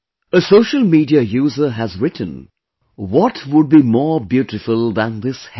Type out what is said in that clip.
A social media user has written 'What would be more beautiful than this heaven